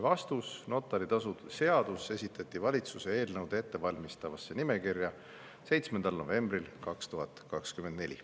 " Vastus: notari tasu seadus esitati valitsuse eelnõude ettevalmistamise nimekirja 7. novembril 2024.